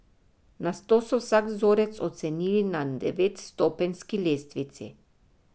Nato so vsak vzorec ocenili na devetstopenjski lestvici.